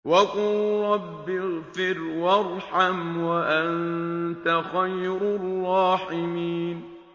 وَقُل رَّبِّ اغْفِرْ وَارْحَمْ وَأَنتَ خَيْرُ الرَّاحِمِينَ